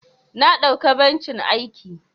Na dauka bencin aiki.